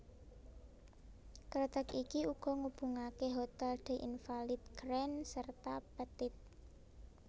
Kreteg iki uga ngubungaké Hotel des Invalides Grand serta Petit